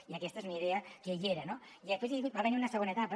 i aquesta és una idea que hi era no i després va haver hi una segona etapa